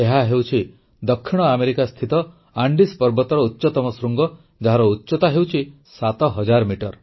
ଏହାହେଉଛି ଦକ୍ଷିଣ ଆମେରିକାସ୍ଥିତ ଆଣ୍ଡେସ୍ ପର୍ବତର ଉଚ୍ଚତମ ଶୃଙ୍ଗ ଯାହାର ଉଚ୍ଚତା ହେଉଛି ସାତହଜାର ମିଟର